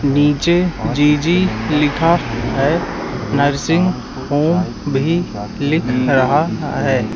नीचे जी_जी लिखा है नर्सिंग होम भी लिख रहा है।